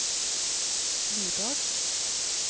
Nyborg